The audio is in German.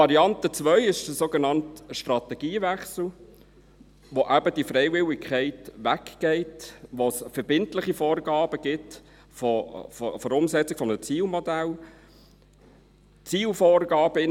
Variante 2 ist der sogenannte «Strategiewechsel», bei dem eben die Freiwilligkeit wegfällt und es verbindliche Vorgaben für die Umsetzung eines Zielmodells gibt: